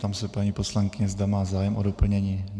Ptám se paní poslankyně, zda má zájem o doplnění.